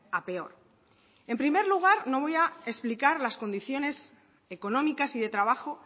a peor en primer lugar no voy a explicar las condiciones económicas y de trabajo